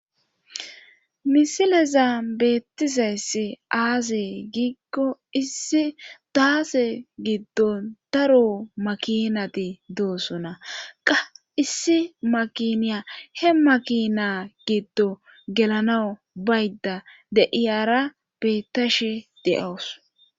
Misileza beettizayssi aase giikko issi daase giddon daro makinati doosona qa issi makiniya he makina giddo gelanawu baydda deiyara beettashe de7awus.